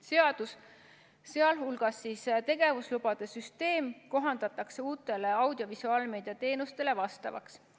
Seadus, sh tegevuslubade süsteem, kohandatakse uutele audiovisuaalmeedia teenustele vastavaks.